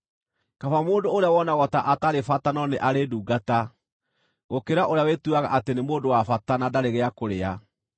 Kaba mũndũ ũrĩa wonagwo ta atarĩ bata no nĩ arĩ ndungata, gũkĩra ũrĩa wĩtuaga atĩ nĩ mũndũ wa bata, na ndarĩ gĩa kũrĩa.